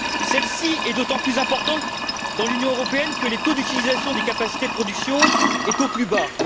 Celle ci est d'autant plus importante dans l'Union européenne que le taux d'utilisation des capacités de production est au plus bas.